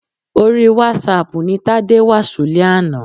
Orí wásáaàpù ni Tádé wà ṣúlẹ̀ àná.